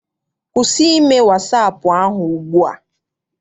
Kwụsị ime wasaapụ ahụ ugbua!